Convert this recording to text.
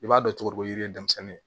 I b'a dɔn cogo ko yiri ye denmisɛnnin ye